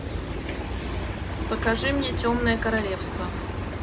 покажи мне темное королевство